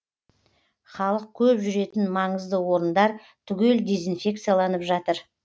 халық көп жүретін маңызды орындар түгел дезинфекцияланып жатыр